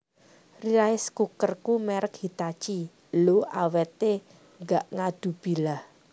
Rice cookerku merk Hitachi lho awete gak ngadubilah